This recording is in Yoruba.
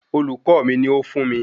Olùkọ́ mi ni ó fún mi